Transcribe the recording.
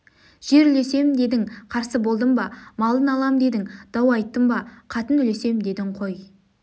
жер үлесем дедің қарсы болдым ба малын алам дедің дау айттым ба қатын үлесем дедің қой